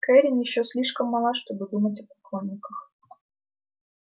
кэррин ещё слишком мала чтобы думать о поклонниках